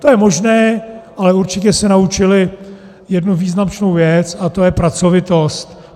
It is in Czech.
To je možné, ale určitě se naučili jednu význačnou věc, a to je pracovitost.